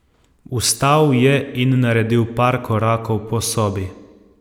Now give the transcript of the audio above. Vstal je in naredil par korakov po sobi.